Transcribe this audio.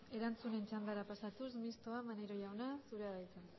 erantzunen txandara pasatuz mistoa maneiro jauna